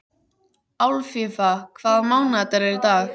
Alfífa, hvaða mánaðardagur er í dag?